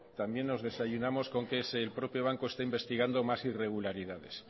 también nos desayunamos con que es el propio banco quien está investigando más irregularidades